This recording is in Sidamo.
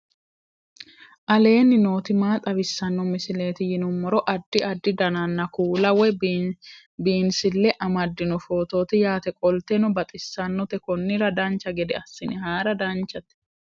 aleenni nooti maa xawisanno misileeti yinummoro addi addi dananna kuula woy biinsille amaddino footooti yaate qoltenno baxissannote konnira dancha gede assine haara danchate